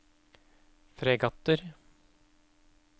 fregatter